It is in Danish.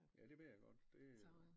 Ja det ved jeg godt det øh